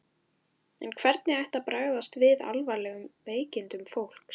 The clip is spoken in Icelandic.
En hvernig ætti að bregðast við alvarlegum veikindum fólks?